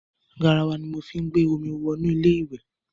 Garawa ni mo fí ń gbé omi wọ inú ilé ìwẹ̀.